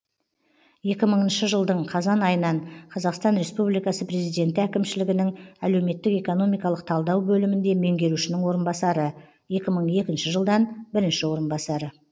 екі мыңшы жылдың қазан айынан қазақстан республикасы президенті әкімшілігінің әлеуметтік экономикалық талдау бөлімінде меңгерушінің орынбасары екі мың екінші жылдан бірінші орынбасары